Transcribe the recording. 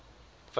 fact date december